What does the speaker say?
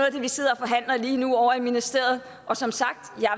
af det vi sidder og forhandler lige nu over i ministeriet og som sagt